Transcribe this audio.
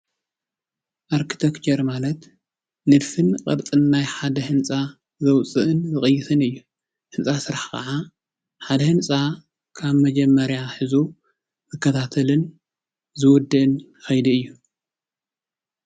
ኣርክቴክቸር ማለት ንድፍን ቅርፅን ናይ ሓደ ህንፃ መውፅእን መቐየስን እዩ ህንፃ ስራሕ ከዓ ሓደ ህንፃ ካብ መጀመርያ ሒዙ ዝከታተልን ዝውድእን ኸይዲ እዩ።